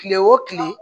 Kile o kile